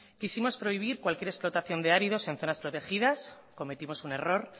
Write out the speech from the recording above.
quisimos prohibir cualquier explotación de áridos en zonas protegidas cometimos un error